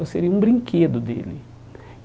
Eu seria um brinquedo dele.